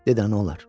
Dədə nə olar.